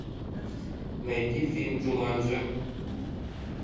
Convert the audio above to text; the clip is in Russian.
найди фильм джуманджи